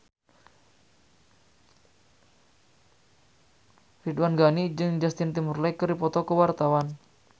Ridwan Ghani jeung Justin Timberlake keur dipoto ku wartawan